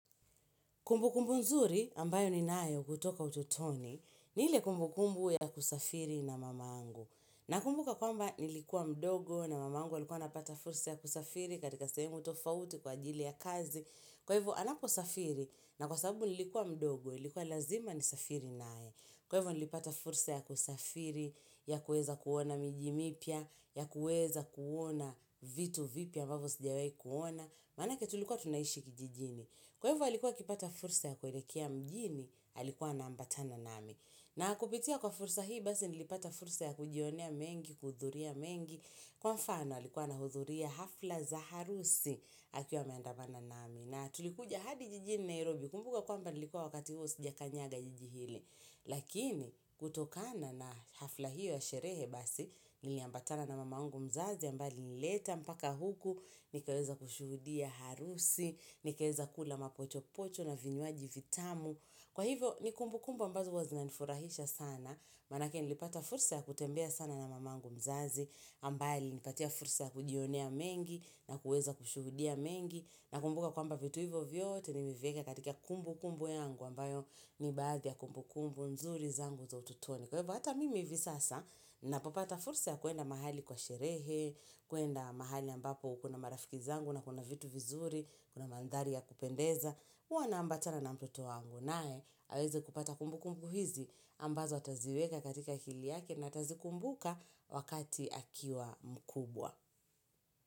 Kumbu kumbu nzuri ambayo ni nayo kutoka ututoni, ni ile kumbu kumbu ya kusafiri na mamangu. Na kumbuka kwamba nilikuwa mdogo na mamangu alikuwa anapata fursa ya kusafiri katika sahemu tofauti kwa ajili ya kazi. Kwa hivu anapo safiri na kwa sababu nilikuwa mdogo, ilikuwa lazima ni safiri nae. Kwa hivyo nilipata fursa ya kusafiri, ya kueza kuona miji mipia, ya kueza kuona vitu vipya ambavo sijawahi kuona. Manake tulikuwa tunaishi kijijini. Kwa hivyo alikuwa akipata fursa ya kuelekea mjini, alikuwa na ambatana nami. Na kupitia kwa fursa hii, basi nilipata fursa ya kujionea mengi, kuhudhuria mengi. Kwa mfano, alikuwa na hudhuria hafla za harusi, akiwa ame andamana nami. Na tulikuja hadi jijini Nairobi, kumbuka kwamba nilikuwa wakati huo sija kanyaga jijihili. Lakini, kutokana na hafla hio ya sherehe basi, nili ambatana na mamangu mzazi, aMbaye anileta mpaka huku, nikaweza kushuhudia harusi, nikaweza kula mapocho pocho na vinywaji vitamu Kwa hivo ni kumbu kumbu ambazo huwa zinani furahisha sana Manake nilipata fursa ya kutembea sana na mamangu mzazi mbali nipatia fursa ya kujionea mengi na kuweza kushuhudia mengi Nakumbuka kwamba vitu hivyo vyote nilivieka katika kumbu kumbu yangu ambayo ni baadi kumbu kumbu nzuri zangu za ututoni Kwa hivyo, hata mimi hivi sasa, ninapopata fursa ya kuenda mahali kwa sherehe, kuenda mahali ambapo ukuna marafiki zangu na kuna vitu vizuri, kuna mandhari ya kupendeza. Huwa na ambatana na mtoto wangu nae, aweze kupata kumbuku hizi ambazo ataziweka katika akili yake na atazi kumbuka wakati akiwa mkubwa.